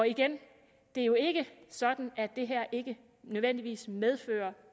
igen det er jo ikke sådan at det her nødvendigvis medfører